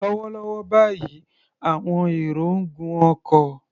Lọ́wọ́lọ́wọ́ báyìí, àwọn èrò ń gun ọkọ̀.